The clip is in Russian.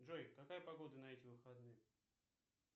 джой какая погода на эти выходные